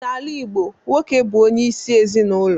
N'ala Igbo, nwoke bu onye isi ezinulo.